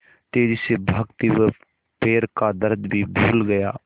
तेज़ी से भागते हुए वह पैर का दर्द भी भूल गया